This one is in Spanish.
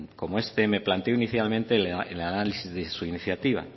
como este me planteo inicialmente el análisis de su iniciativa